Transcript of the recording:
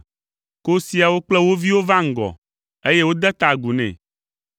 Kosiawo kple wo viwo va ŋgɔ, eye wode ta agu nɛ.